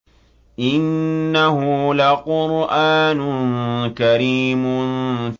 إِنَّهُ لَقُرْآنٌ كَرِيمٌ